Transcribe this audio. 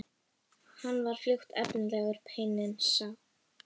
Hann var fljótt efnilegur, peyinn sá.